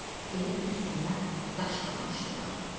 Elə bil üstünə daş qalamışdılar.